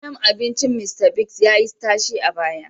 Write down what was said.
Gidan abincin Mista Bigs ya yi tashe a baya